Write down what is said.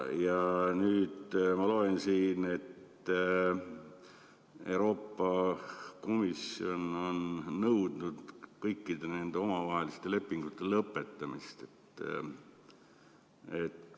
Ja nüüd ma loen, et Euroopa Komisjon on nõudnud kõikide nende omavaheliste lepingute lõpetamist.